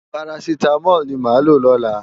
Párásitámòl ni mó má ló lòlá